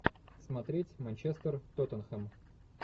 смотреть манчестер тоттенхэм